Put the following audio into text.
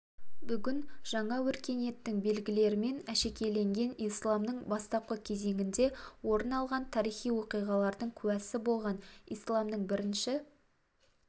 бүгін жаңа өркениеттің белгілерімен әшекейленген исламның бастапқы кезеңінде орын алған тарихи оқиғалардың куәсі болған исламның бірінші